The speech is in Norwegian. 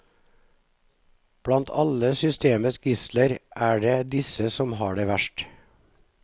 Blant alle systemets gisler er det disse som har det verst.